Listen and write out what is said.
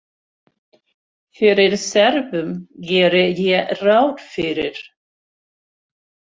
Fyrir Serbum geri ég ráð fyrir.